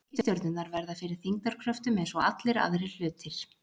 Reikistjörnurnar verða fyrir þyngdarkröftum eins og allir aðrir hlutir.